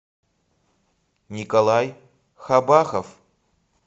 николай хабахов